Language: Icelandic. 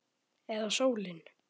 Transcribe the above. Eða sólin?